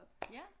Ja